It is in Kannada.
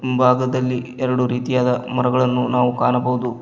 ಹಿಂಭಾಗದಲ್ಲಿ ಎರಡು ರೀತಿಯಾದ ಮರಗಳನ್ನು ನಾವು ಕಾಣಬಹುದು.